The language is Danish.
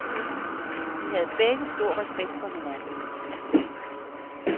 De havde begge stor respekt for hinanden.